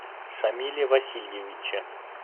шамиле васильевиче